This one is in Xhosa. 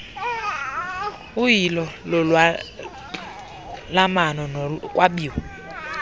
uyilo lolwalamano nokwabiwa